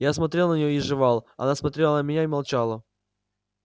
я смотрел на неё и жевал она смотрела на меня и молчала